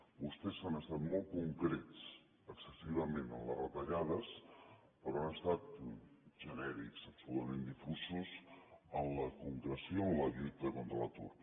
vostès han estat molt concrets excessivament en les retallades però han estat genèrics absolutament difusos en la concreció en la lluita contra l’atur